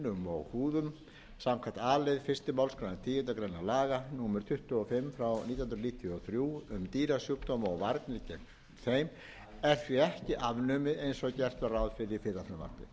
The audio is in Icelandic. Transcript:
og húðum samkvæmt a lið fyrstu málsgreinar tíundu grein laga númer tuttugu og fimm nítján hundruð níutíu og þrjú um dýrasjúkdóma og varnir gegn þeim er því ekki afnumið eins og gert var ráð fyrir í fyrra frumvarpi